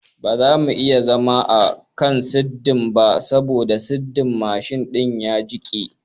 bamu iya zama a kan sirdin ba sabo sirdin mshin din ya jiƙe